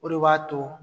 O de b'a to